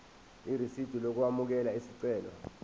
irisidi lokwamukela isicelo